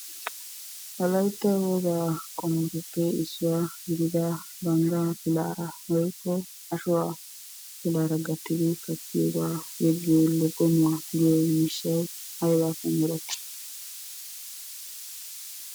Wolaytta wogaa qummatuppe issuwa gidida banggaa pilaara woykko ashuwa pilaara gattidi kattiyogaa yeggiyo loggommuwa giyo miishshay aybaappe meretti?